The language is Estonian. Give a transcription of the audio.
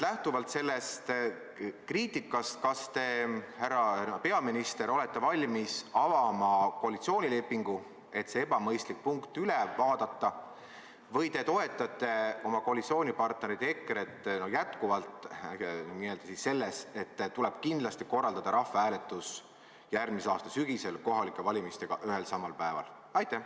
Lähtuvalt sellest kriitikast: kas teie, härra peaminister, olete valmis avama koalitsioonilepingu, et see ebamõistlik punkt üle vaadata, või te toetate oma koalitsioonipartnerit EKRE-t jätkuvalt selles, et tuleb kindlasti korraldada rahvahääletus järgmise aasta sügisel kohalike valimistega ühel ja samal päeval?